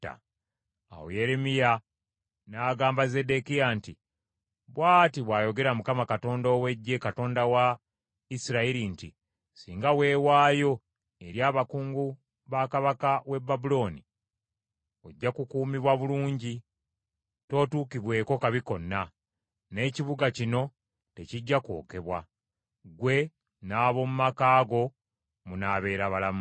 Awo Yeremiya n’agamba Zeddekiya nti, “Bw’ati bw’ayogera Mukama Katonda ow’Eggye, Katonda wa Isirayiri nti, ‘Singa weewaayo eri abakungu ba kabaka w’e Babulooni, ojja kukuumibwa bulungi tootuukibweko kabi konna, n’ekibuga kino tekijja kwokebwa; ggwe n’ab’omu maka go munaabeera balamu.